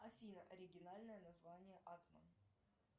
афина оригинальное название атман